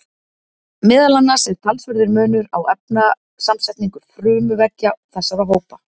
Meðal annars er talsverður munur á efnasamsetningu frumuveggja þessara hópa.